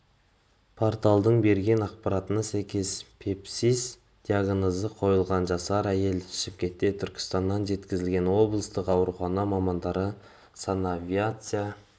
порталдың берген ақпаратына сәйкес сепсис диагнозы қойылған жасар әйел шымкентке түркістаннан жеткізілген облыстық аурухана мамандары санавиация